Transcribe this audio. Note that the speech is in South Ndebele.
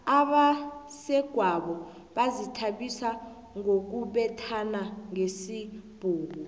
abesegwabo bazithabisa ngokubethana ngesibhuku